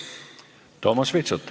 Toomas Vitsut.